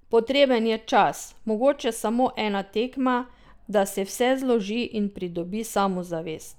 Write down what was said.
Potreben je čas, mogoče samo ena tekma, da se vse zloži in pridobi samozavest.